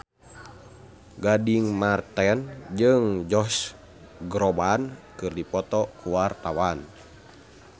Gading Marten jeung Josh Groban keur dipoto ku wartawan